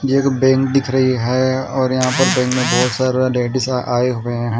एक बैंक दिख रही है और यहां पर बैंक में बहोत सारा लेडिस आए हुए हैं।